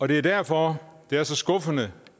det er derfor det er så skuffende